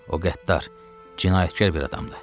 O qəddar, cinayətkar bir adamdır.